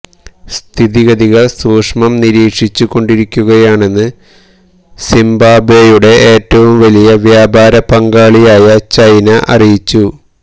സ്ഥിതിഗതികള് സസൂക്ഷ്മം നിരീക്ഷിച്ചുകൊണ്ടിരിക്കുകയാണെന്ന് സിംബാബ്വെയുടെ ഏറ്റവും വലിയ വ്യാപാര പങ്കാളിയായ ചൈന അറിയിച്ചു